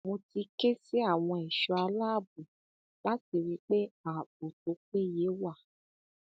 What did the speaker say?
mo ti ké sí àwọn ẹṣọ aláàbọ láti rí i pé ààbò tó péye wà